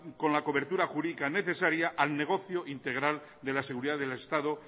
con la cobertura jurídica necesaria al negocio integral de la seguridad del estado